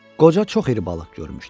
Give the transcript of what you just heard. Qoca çox iri balıq görmüşdü.